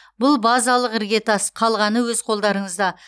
бұл базалық іргетас қалғаны өз қолдарыңызда